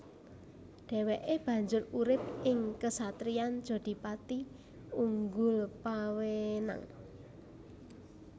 Dhèwèké banjur urip ing kesatriyan Jodhipati Unggulpawenang